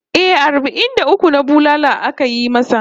Eh, arbai'n da uku na bulala ake yi masa